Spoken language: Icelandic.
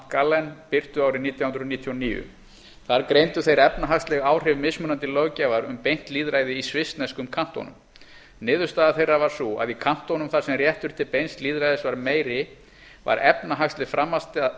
st gallen birtu árið nítján hundruð níutíu og níu þar greindu þeir efnahagsleg áhrif mismunandi löggjafar um beint lýðræði í svissneskum kantónum niðurstaða þeirra var sú að í kantónum þar sem réttur til beins lýðræðis var meiri var efnahagsleg